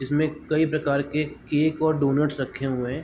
इसमें कई प्रकार के केक और डोनट्स रखे हुए हैं।